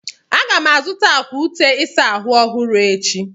Aga m azụta akwa ute ịsa ahụ ọhụrụ echi.